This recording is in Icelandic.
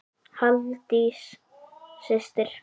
Halldís systir.